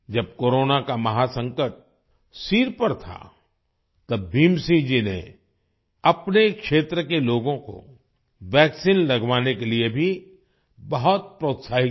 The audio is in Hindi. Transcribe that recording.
जब कोरोना का महासंकट सिर पर था तब भीम सिंह जी ने अपने क्षेत्र के लोगों को वैक्सीन लगवाने के लिए भी बहुत प्रोत्साहित किया